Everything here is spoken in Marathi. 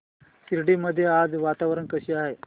शिर्डी मध्ये आज वातावरण कसे आहे